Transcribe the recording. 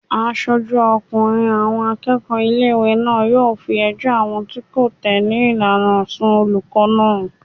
Aṣojú ọkùnrin àwọn akẹ́kọ̀ọ́ ilé-ìwé náà yóò fi ẹjọ́ àwọn tí kò tẹ̀lé ìlànà rẹ̀ sùn olùkọ́ náà